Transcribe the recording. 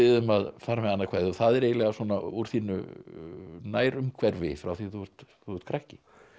um að fara með annað kvæði og það er eiginlega úr þínu nærumhverfi frá því þú ert þú ert krakki